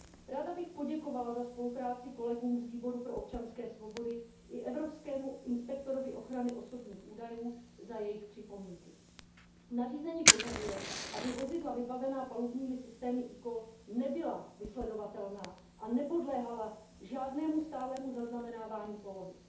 Ráda bych poděkovala za spolupráci kolegům z Výboru pro občanské svobody, spravedlnost a vnitřní věci i evropskému inspektorovi pro ochranu osobních údajů za jejich připomínky. Nařízení požaduje, aby vozidla vybavená palubními systémy eCall nebyla vysledovatelná a nepodléhala žádnému stálému zaznamenávání polohy.